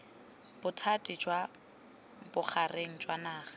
bothati jwa bogareng jwa naga